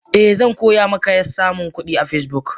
Eh zankoyamaka samunkudi a Facebook.